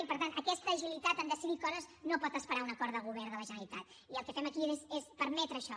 i per tant aquesta agilitat en decidir coses no pot esperar un acord de govern de la generalitat i el que fem aquí és permetre això